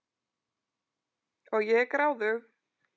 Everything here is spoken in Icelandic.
Og ég er gráðug.